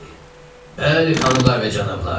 Bəli, xanımlar və cənablar!